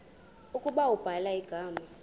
ukuba ubhala igama